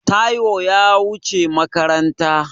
Taiwo ya wuce makaranta.